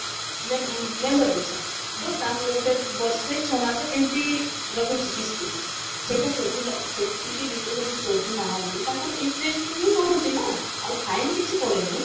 ମେମ member ପିଛା ତ ତାଙ୍କର ଗୋଟେ ବର୍ଷେ ଛଅ ମାସ ଏମତି ରହୁଛି କିସ୍ତି ସେଇଟା ସୁଝିଲା ସେତିକି ଭିତରେ ଯଦି ସୁଝୁନାହାନ୍ତି ତାଙ୍କର interest ହିଁ ବଢୁଛି ନା ଆଉ fine କିଛି ପଡେନି